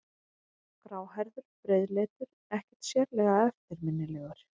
Gráhærður, breiðleitur, ekkert sérlega eftirminnilegur.